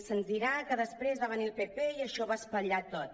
se’ns dirà que després va venir el pp i això ho va espatllar tot